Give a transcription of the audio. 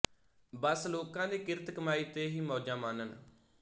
ਬੱਸ ਲੋਕਾਂ ਦੀ ਕਿਰਤ ਕਮਾਈ ਤੇ ਹੀ ਮੌਜਾਂ ਮਾਣਨ